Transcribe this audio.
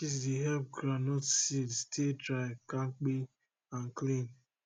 ashes dey help groundnut seed stay dry kampe and clean